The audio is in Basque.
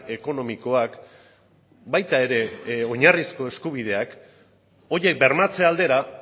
ekonomikoak baita ere oinarrizko eskubideak horiek bermatze aldera